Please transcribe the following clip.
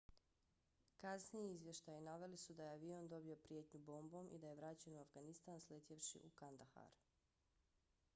kasniji izvještaji naveli su da je avion dobio prijetnju bombom i da je vraćen u afganistan sletjevši u kandahar